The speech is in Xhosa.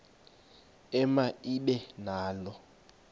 ema ibe nalo